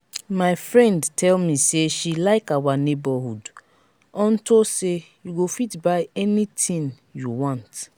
my friend tell me say she like our neighborhood unto say you go fit buy anything you want